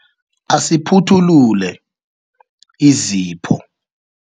Asiphuthulule izipho.